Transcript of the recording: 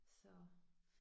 Så